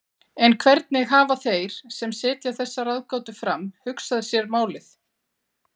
En hvernig hafa þeir sem setja þessa ráðgátu fram hugsað sér málið?